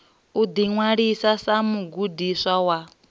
u ḓiṅwalisa sa mugudiswa wa